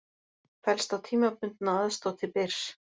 Fellst á tímabundna aðstoð til Byrs